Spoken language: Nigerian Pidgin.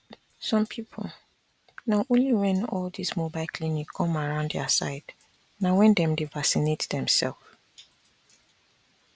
some people na only when all this mobile clinic come around their side na when dem vacinate dem self